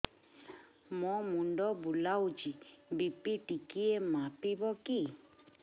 ମୋ ମୁଣ୍ଡ ବୁଲାଉଛି ବି.ପି ଟିକିଏ ମାପିବ କି